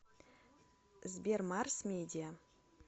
сбер марс медиа